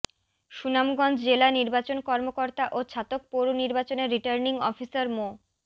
সুনামগঞ্জ জেলা নির্বাচন কর্মকর্তা ও ছাতক পৌর নির্বাচনের রির্টানিং অফিসার মো